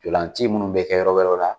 Ntolanci minnu bɛ kɛ yɔrɔ wɛrɛw la